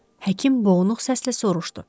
Həkim boğuq səslə soruşdu.